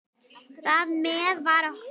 Þar með var okkur